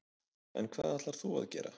En hvað ætlar þú að gera?